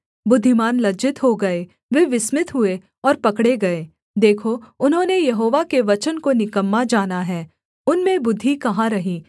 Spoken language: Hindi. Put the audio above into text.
बुद्धिमान लज्जित हो गए वे विस्मित हुए और पकड़े गए देखो उन्होंने यहोवा के वचन को निकम्मा जाना है उनमें बुद्धि कहाँ रही